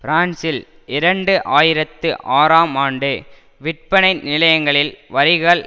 பிரான்சில் இரண்டு ஆயிரத்து ஆறாம் ஆண்டு விற்பனை நிலையங்களில் வரிகள்